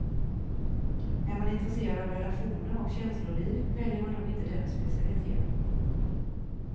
Är man intresserad av relationer och känsloliv väljer man nog inte den specialitén.